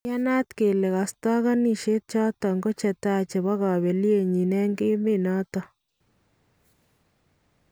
Iyanaat kelee kastakanishet choton ko chetai chebo kablenyin en emet noton